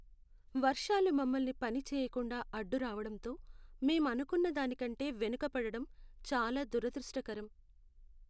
వర్షాలు మమ్మల్ని పని చేయకుండా అడ్డురావడంతో మేం అనుకున్న దానికంటే వెనుకపడటం చాలా దురదృష్టకరం.